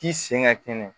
K'i sen ka kɛnɛ